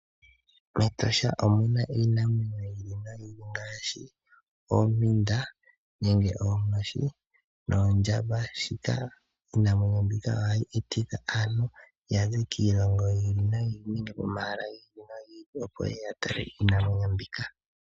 MEtosha omuna iinamwenyo yiili noyiili ngaashi, oompinda nenge oonkoshi noondjamba. Shika ohashi etitha aantu yaze kiilongo yiili noyiili nenge pomahala giili nogiili opo yeye yatale iinamwenyo mbika.